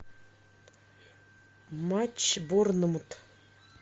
матч борнмут